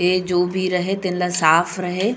ए जो भी रहे तेन ल साफ़ रहे--